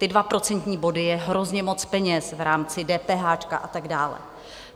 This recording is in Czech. Ty dva procentní body je hrozně moc peněz v rámci DPH a tak dále.